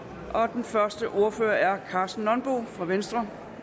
den første ordfører er karsten nonbo fra venstre